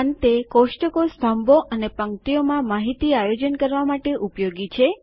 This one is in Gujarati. અંતે કોષ્ટકો સ્તંભો અને પંક્તિઓ માં માહિતી આયોજન કરવા માટે ઉપયોગી છે